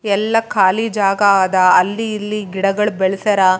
ಹೊರಗಡೆ ಸ್ವಲ್ಪ ಮಧ್ಯದಗ ಆದ ಇದು ಸುತ್ತಮುತ್ತ--